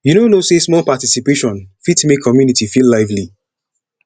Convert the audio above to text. you no know sey small participation fit make community feel lively